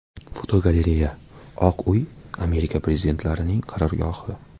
Fotogalereya: Oq uy Amerika prezidentlarining qarorgohi.